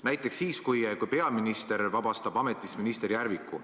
Näiteks siis, kui peaminister vabastab ametist minister Järviku.